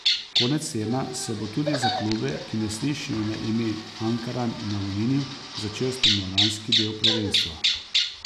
Konec tedna se bo tudi za klube, ki ne slišijo na ime Ankaran in Aluminij, začel spomladanski del prvenstva.